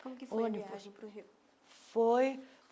Como foi ônibus a viagem para o Rio?